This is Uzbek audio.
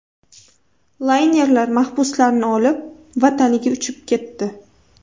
Laynerlar mahbuslarni olib, vataniga uchib ketdi.